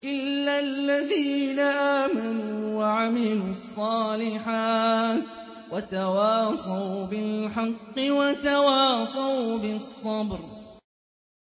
إِلَّا الَّذِينَ آمَنُوا وَعَمِلُوا الصَّالِحَاتِ وَتَوَاصَوْا بِالْحَقِّ وَتَوَاصَوْا بِالصَّبْرِ